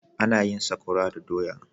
Ana yin sakora da doya.